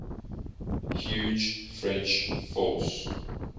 huge french force